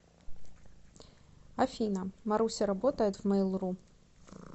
афина маруся работает в мейл ру